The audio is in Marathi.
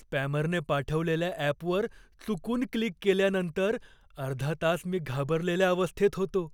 स्पॅमरने पाठवलेल्या ॲपवर चुकून क्लिक केल्यानंतर अर्धा तास मी घाबरलेल्या अवस्थेत होतो.